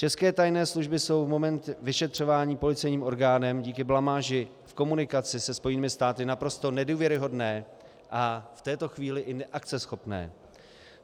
České tajné služby jsou v moment vyšetřování policejním orgánem díky blamáži v komunikaci se Spojenými státy naprosto nedůvěryhodné a v této chvíli i neakceschopné.